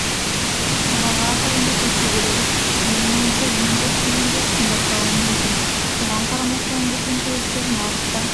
баға ақырындап өсе береді менің ойымша ең көп дегенде қымбаттауы мүмкін соған қарамастан біздің көліктер нарықта